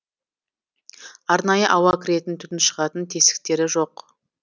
арнайы ауа кіретін түтін шығатын тесіктері жоқ